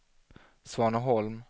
Svaneholm